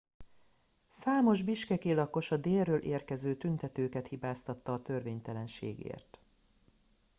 számos bishkeki lakos a délről érkező tüntetőket hibáztatta a törvénytelenségért